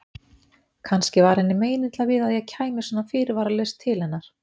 Kannski var henni meinilla við að ég kæmi svona fyrirvaralaust til hennar.